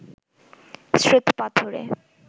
শ্বেত পাথরে